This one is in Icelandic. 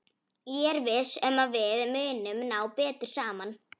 Ég er viss um að við munum ná betur saman.